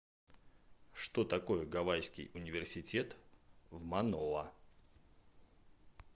что такое гавайский университет в маноа